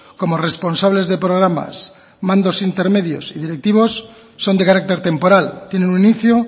como responsables de programas mandos intermedios y directivos son de carácter temporal tienen un inicio